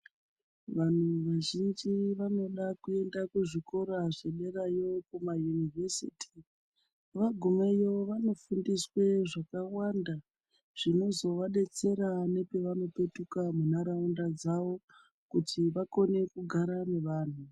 Vantu vazhinji vanoda kuenda kuzvikora zvederayo kuma univhesiti vagumeyo vanofundiswe zvakawanda zvinozovadetsera nepavanopetuka munharaunda dzavo kuti vakone kugara nevantu.